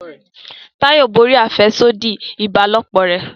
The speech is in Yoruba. Tayo borí afẹsodi ìbálòpọ̀ rẹ